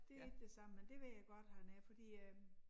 Det ikke det samme men det ved jeg godt han er fordi øh